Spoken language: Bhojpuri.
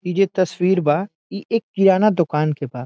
ई जो तस्वीर बा ई एक किराना दुकान के बा।